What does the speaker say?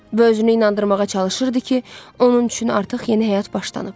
Və özünü inandırmağa çalışırdı ki, onun üçün artıq yeni həyat başlanıb.